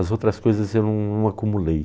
As outras coisas eu não não acumulei.